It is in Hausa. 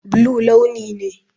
Blue launi ne.